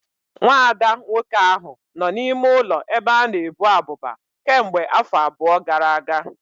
Nwa ada nwoke ahụ nọ n'ime ụlọ ebe a na-ebu abụba kemgbe afọ abụọ gara aga